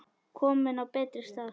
Komin á betri stað.